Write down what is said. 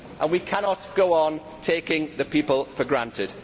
We cannot go on taking the people for granted.